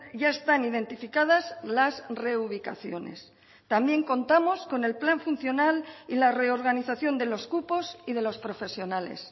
ya están identificadas las reubicaciones también contamos con el plan funcional y la reorganización de los cupos y de los profesionales